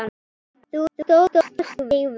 Þú stóðst þig vel.